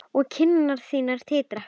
Og kinnar þínar titra.